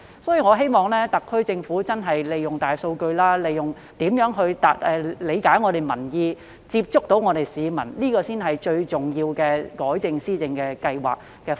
所以，我希望特區政府研究如何利用大數據理解民意，接觸市民，這才是最重要的改正施政方案。